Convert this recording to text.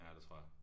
Ja det tror jeg